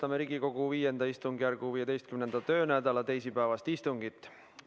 Alustame Riigikogu V istungjärgu 15. töönädala teisipäevast istungit.